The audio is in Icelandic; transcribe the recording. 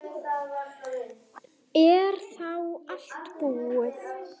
Er þá allt búið?